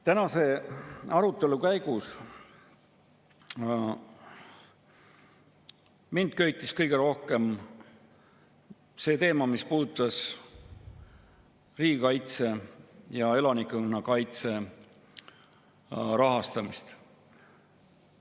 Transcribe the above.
Tänase arutelu käigus köitis mind kõige rohkem see teema, mis puudutas riigikaitse ja elanikkonnakaitse rahastamist.